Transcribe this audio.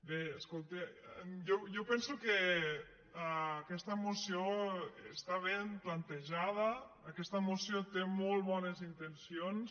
bé escolteu jo penso que aquesta moció està ben plantejada aquesta mo·ció té molt bones intencions